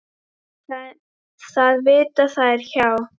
Það vita þær hjá